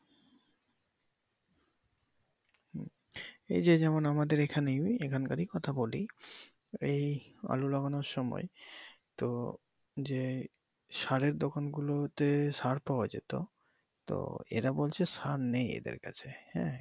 এইযে যেমন আমাদের এইখানে ওই এইখান কারেই কথা বলি এই আলু লাগানোর সময় যে সারের দোকান গুলোতে সার পাওয়া যেতো তো এরা বলছে সার নেই এদের কাছে ।